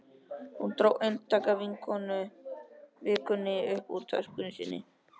Hún dró eintak af Vikunni upp úr töskunni sinni.